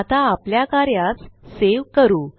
आता आपल्या कार्यास सेव करू